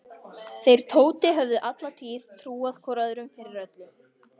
Þeir Tóti höfðu alla tíð trúað hvor öðrum fyrir öllu.